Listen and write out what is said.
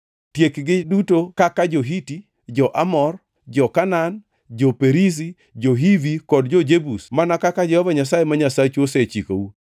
Tiekgi duto kaka jo-Hiti, jo-Amor, jo-Kanaan, jo-Perizi, jo-Hivi kod jo-Jebus mana kaka Jehova Nyasaye ma Nyasachu osechikou.